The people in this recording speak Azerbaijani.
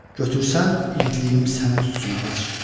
Götürsən, igidliyim səni tutsun, ağac.